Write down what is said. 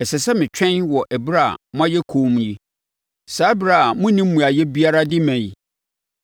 Ɛsɛ sɛ metwɛn wɔ ɛberɛ a moayɛ komm yi, saa ɛberɛ a mo monni mmuaeɛ biara de ma yi?